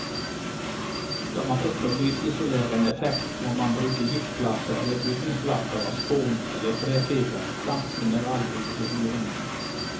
Skal man oppnå lydisolerende effekt, må man bruke gipsplater eller bygningsplater av spon eller trefiber samt mineralull i hulrommene.